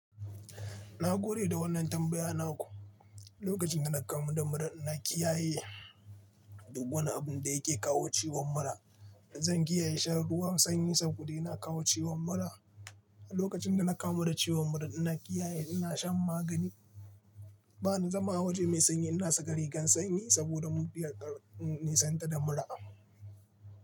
Na gore da wannan tambaya naku. Lokacin da na kamu da mura, na kiyaye du wani abun da yake kawo ciwon mura. Zan kiyaye shan ruwan sanyi saboda yana kawo ciwon mura. Lokacin da na kamu da ciwon mura, ina kiyaye ina shan magani. Ba ni zama a waje mai sanyi. Ina saka rigan sanyi saboda mubiyan kar in nisanta da mura.